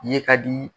Ye ka di